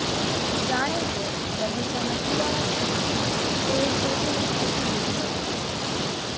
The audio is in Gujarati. જાણે કે બગીચાના કુંવારા છોડને કોઈએ છેદીને ફેંકી દીધો હતો